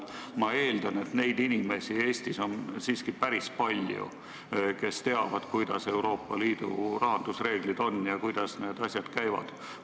Ma eeldan, et Eestis on päris palju muidki inimesi, kes teavad, millised Euroopa Liidu rahandusreeglid on ja kuidas need asjad käivad.